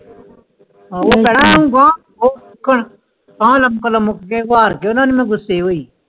ਕਲਾਮ ਕਲਾਮ ਮੁਖ ਗਯਾ ਵਾਰ ਦੇਯੋ ਜਾਂਦਾ ਮੁ ਗੁੱਸੇ ਹੁਈ